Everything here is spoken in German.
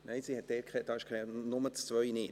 Nein, sie hat dort nicht …, nur die 2 nicht.